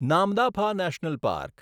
Namdapha national park